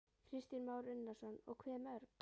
Kristján Már Unnarsson: Og hve mörg?